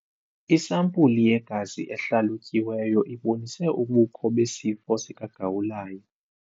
Isampulu yegazi ehlalutyiweyo ibonise ubukho besifo sikagawulayo.